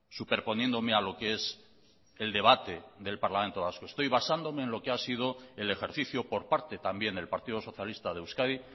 superponiéndome a lo que es el debate del parlamento vasco estoy basándome en lo que ha sido el ejercicio por parte también del partido socialista de euskadi